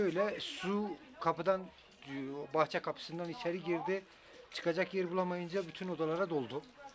Beləliklə su qapıdan, bağ qapısından içəri girdi, çıxacaq yer tapa bilməyincə bütün otaqlara doldu.